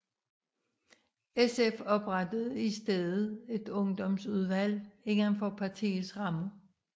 SF oprettede i stedet et ungdomsudvalg inden for partiets rammer